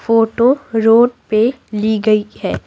Photo road पे ली गई है।